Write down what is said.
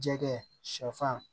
Jɛgɛ sɛfan